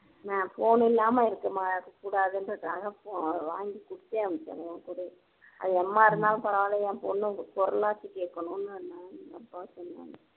நான் phone இல்லாம்ம இருக்கமா இருக்க கூடாதுன்றதுக்காக வாங்கி கொடுத்தே அனுப்பிச்சாங்க என் கூடயே அது எம்மா இருந்தாலும் பரவாயில்ல என் பொண்ணு குரல்லாச்சும் கேட்கணும்னு